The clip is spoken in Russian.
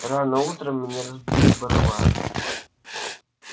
рано утром меня разбудил барабан